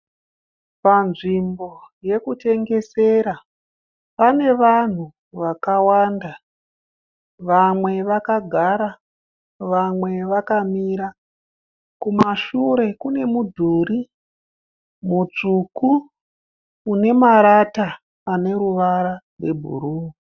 Panzvimbo yekutengesera pane vanhu vakawanda. Vamwe vakagara vamwe vakamira. Kumashure kune mudhuri mutsvuku une marata ane ruvara rwebhuruu.